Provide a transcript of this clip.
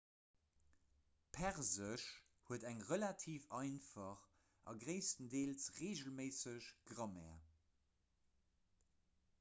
persesch huet eng relativ einfach a gréisstendeels reegelméisseg grammaire